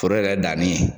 Foro yɛrɛ danni